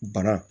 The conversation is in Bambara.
Bana